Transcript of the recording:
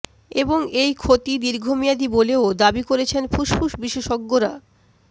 এবং এই ক্ষতি দীর্ঘমেয়াদি বলেও দাবি করেছেন ফুসফুস বিশেষজ্ঞরা